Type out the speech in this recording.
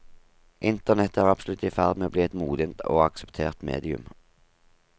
Internett er absolutt i ferd med å bli et modent og akseptert medium.